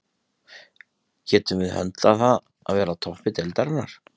Getum við höndlað það að vera á toppi deildarinnar?